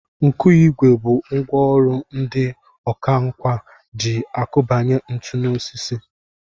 Nkụigwe bụ ngwa ọrụ ndị ọkwánka ji akụbanye ntu n'osisi